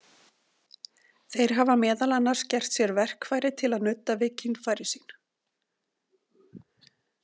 Þeir hafa meðal annars gert sér „verkfæri“ til að nudda við kynfæri sín.